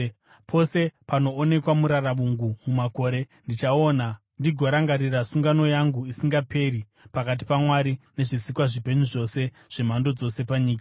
Pose panoonekwa muraravungu mumakore, ndichaona ndigorangarira sungano yangu isingaperi pakati paMwari nezvisikwa zvipenyu zvose zvemhando dzose panyika.”